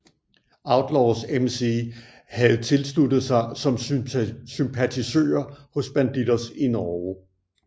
Outlaws MC havde tilsluttet sig som sympatisører hos Bandidos i Norge